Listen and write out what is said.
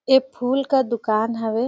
ए फूल का दुकान हवे।